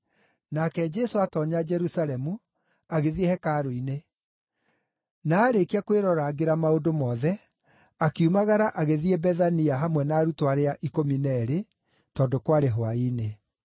Nake Jesũ aatoonya Jerusalemu, agĩthiĩ hekarũ-inĩ. Na aarĩkia kwĩrorangĩra maũndũ mothe, akiumagara agĩthiĩ Bethania hamwe na arutwo arĩa ikũmi na eerĩ, tondũ kwarĩ hwaĩ-inĩ.